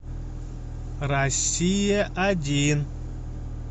россия один